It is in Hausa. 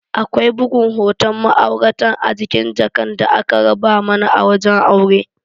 Akwai bugun hoton ma'auratan a jikin jakan da aka raba mana a wajen aure.